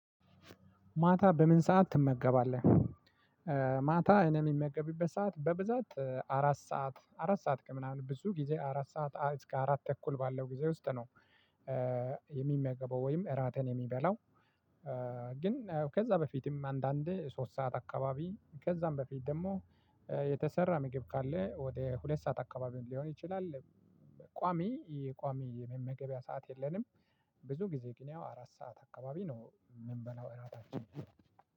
ማታ በምን ሰዓት ትመገባለህ? ማታ እኔ የሚመገብበት ሰዓት በብዛት አራት ሰዓት አራት ሰዓት ከምናምን ብዙ ጊዜ አራት ሰዓት እስከ አራት ተኩል ባለው ጊዜ ውስጥ ነው። የሚመገበው ወይም እራቴን የሚበላው። ግን ከዛ በፊትም አንዳንዴ ሶስት ሰዓት አካባቢ ከዛም በፊት ደግሞ የተሰራ ምግብ ካለ ወደ ሁለት ሰዓት አካባቢ ሊሆን ይችላል። ቋሚ የቋሚ የመመገቢያ ሰዓት የለንም። ብዙ ጊዜ ግን ያው አራት ሰዓት አካባቢ ነው የምንበላው እራታችንን።